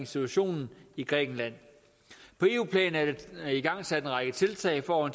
situationen i grækenland på eu plan er der igangsat en række tiltag for